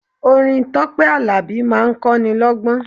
Orin Tọ́pẹ́ Àlàbí máa ń kọ́ ni lọ́gbọ́n.